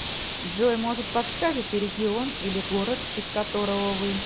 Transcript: джой может подскажите регион или город из которого вы